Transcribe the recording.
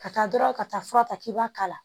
Ka taa dɔrɔn ka taa fura ta k'i b'a k'a la